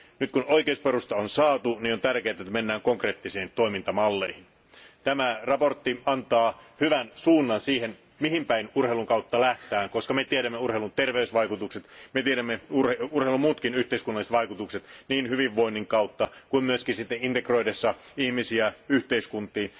Nyt kun oikeusperusta on saatu, on tärkeää, että mennään konkreettisiin toimintamalleihin. Tämä mietintö antaa hyvän suunnan siihen, mihin päin urheilun kautta lähdetään, koska me tiedämme urheilun terveysvaikutukset, me tiedämme urheilun muutkin yhteiskunnalliset vaikutukset niin hyvinvoinnin kautta kuin myös integroidessa ihmisiä yhteiskuntaan.